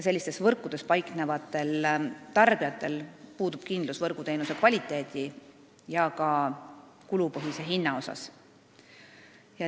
Sellistes võrkudes paiknevad tarbijad ei saa olla kindlad, milline on võrguteenuse kvaliteet ja ka kulupõhine hind.